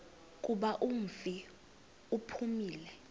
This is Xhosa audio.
kuba umfi uphumile